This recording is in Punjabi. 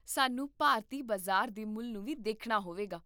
ਸਾਨੂੰ ਭਾਰਤੀ ਬਾਜ਼ਾਰ ਦੇ ਮੁੱਲ ਨੂੰ ਵੀ ਦੇਖਣਾ ਹੋਵੇਗਾ